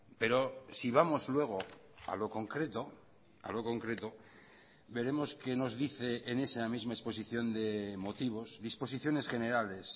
pero si vamos luego a lo concreto a lo concreto veremos que nos dice en esa misma exposición de motivos disposiciones generales